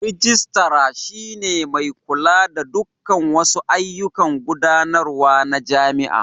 Rijistara shi ne mai kula da dukkan wasu ayyukan gudanarwa na jami'a.